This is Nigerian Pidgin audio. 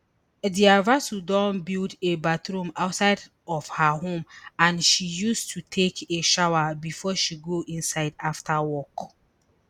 dr vasu don build a bathroom outside of her home and she used to take a shower bifor she go inside afta work